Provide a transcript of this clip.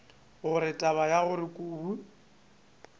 gore taba ya gore kobi